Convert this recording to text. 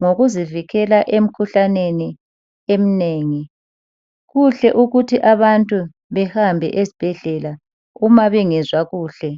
ngokuzivikela emkhuhlaneni emnengi kuhle ukuthi abantu behambe esibhedlela uma bengezwa kuhle